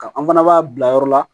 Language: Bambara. Ka an fana b'a bila yɔrɔ la